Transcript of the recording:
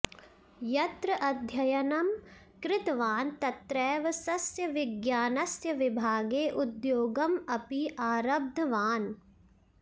यत्र अध्ययनं कृतवान् तत्रैव सस्यविज्ञानस्य विभागे उधोगम् अपि आरब्धवान्